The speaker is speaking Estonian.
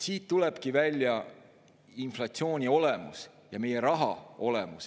Siit tulebki välja inflatsiooni olemus ja meie raha olemus.